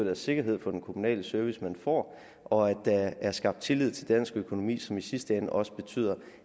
er sikkerhed for den kommunale service man får og at der er skabt tillid til dansk økonomi som i sidste ende også betyder